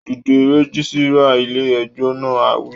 Dìde! Rẹ́gísírà ilé ẹjọ́ náà á wí